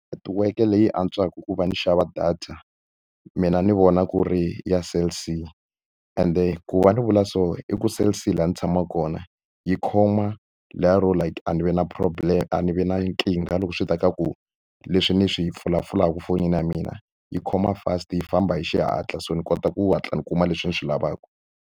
Netiweke leyi antswaka ku va ndzi xava data, mina ni vona ku ri ya Cell C. Ende ku va ni vula so i ku Cell C laha ni tshamaka kona yi khoma leriya ro like a ni vi na problem a ni vi na nkingha loko swi ta ka ku leswi ni swi pfulapfulaka fonini ya mina. Yi khoma fast, yi famba hi xihatla so ni kota ku hatla ni kuma leswi ni swi lavaka.